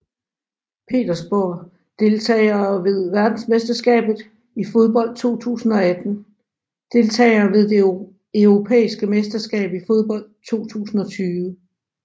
Petersborg Deltagere ved verdensmesterskabet i fodbold 2018 Deltagere ved det europæiske mesterskab i fodbold 2020